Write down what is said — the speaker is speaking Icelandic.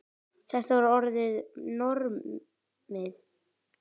Þetta var orðið normið.